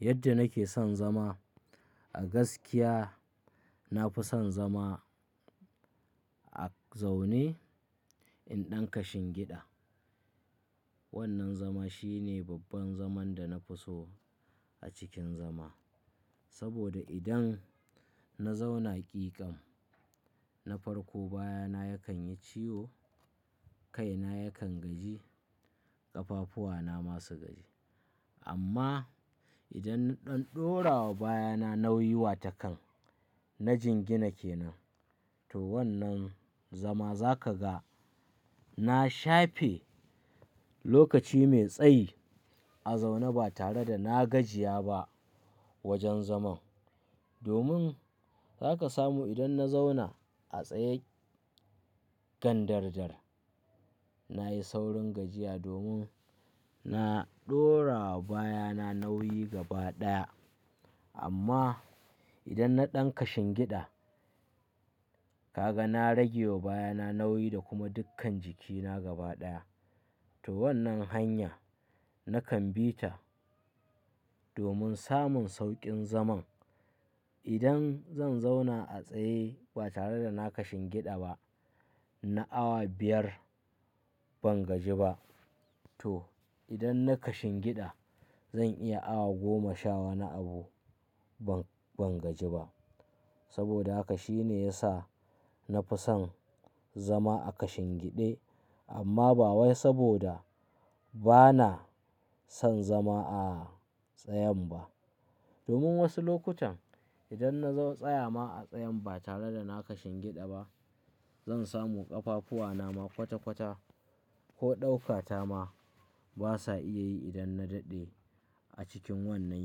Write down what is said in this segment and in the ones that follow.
Yadda nake son zama a gaskiya, na fi son zama a zaune in ɗan kashin giɗa. Wannan zama shine babban zaman da na fi so a cikin zama. Saboda idan na zauna ƙiƙan, na farko baya na yakan yi ciwo, kai na yakan gaji, ƙafafuwa na masu gaji. Amma idan na ɗan ɗora wa baya na nauyi wa takan, na jingina ke nan. To wannan zama za ka ga na shafe lokaci mai tsayi a zaune ba tare da na gajiya ba wajen zaman. Domin za ka samu idan na zauna a tsaye gan dardar, na yi saurin gajiya domin na ɗora wa baya na nauyi gaba ɗaya. Amma idan na ɗan kashin giɗa, ka ga na rage wa baya na nauyi da kuma dukkan jiki na gaba ɗaya. To wannan hanya nakan bi ta domin samun sauƙin zaman. Idan zan zauna a tsaye ba tare da na kashin giɗa ba, na awa biyar ban gaji ba. To idan na kashin giɗa, zan iya awa goma shawana abu ban, ban gaji ba. Saboda haka shine ya sa na fi son zama a kashin giɗe. Amma ba wai saboda ba na son zama a tsayan ba. Domin wasu lokutan idan na zo tsaya ma a tsayan ba tare da na kashin giɗa ba, zan samu ƙafafuwa na ma kwata kwata ko ɗauka ta ma basa iya yi idan na daɗe a cikin wannan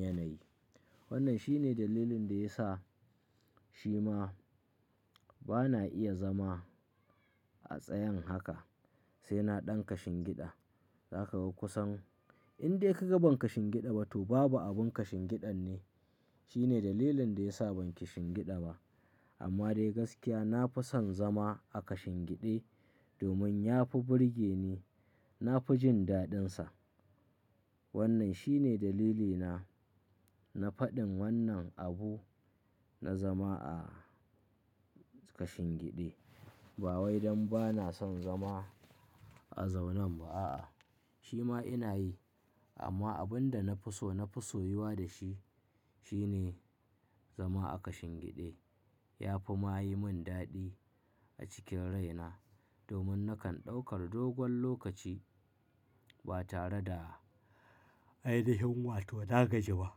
yanayi. Wannan shine dalilin da ya sa shi ma ba na iya zama a tsayan haka sai na ɗan kashin giɗa. Za ka ga kusan in dai ka ga ban kashin giɗa ba to babu abun kashin giɗan ne. Shine dalilin da ya sa ban kishin giɗa ba. Amma dai gaskiya na fi son zama a kashin giɗe domin ya fi burge ni, na fi jin daɗinsa. Wannan shine dalilina na faɗin wannan abu na zama a kashin giɗe. Ba wai don ba na son zama a zaunan ba a'a, shi ma ina yi. Amma abin da na fi so, na fi so yi wa da shi shine zama a kashin giɗe. Ya fi ma yi min daɗi a cikin rai na domin nakan ɗaukar dogon lokaci ba tare da ainihin wato na gaji ba.